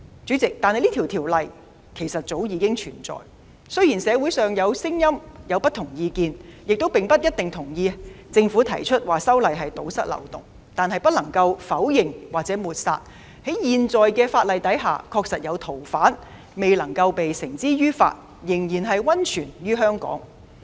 主席，這項條例早已存在，雖然社會上有不同意見，亦不一定贊同政府提出修例是為了堵塞漏洞，但不能否認或抹煞在現有法例下確實有逃犯未能繩之於法，仍然匿藏於香港。